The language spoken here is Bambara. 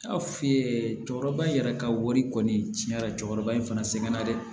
N y'a f'i ye cɛkɔrɔba yɛrɛ ka wari kɔni tiɲɛra cɛkɔrɔba in fana sɛgɛnna dɛ